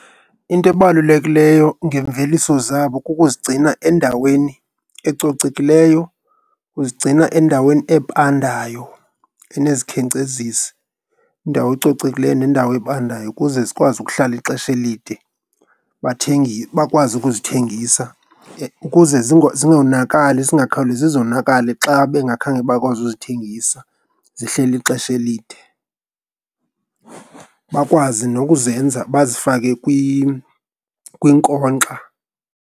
Into ebalulekileyo ngemveliso zabo kukuzigcina endaweni ecocekileyo, ukuzigcina endaweni ebandayo enezikhenkcezisi. Indawo ecocekileyo nendawo ebandayo ukuze zikwazi ukuhlala ixesha elide, bakwazi ukuzithengisa ukuze zingonakali. Zingakhawulezi zonakale xa bengakhange bakwazi uzithengisa, zihleli ixesha elide. Bakwazi nokuzenza bazifake kwinkonxa.